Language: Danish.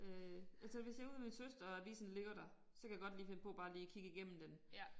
Øh altså hvis jeg ude ved søster og avisen ligger der så kan jeg godt lige finde på bare lige kigge igennem den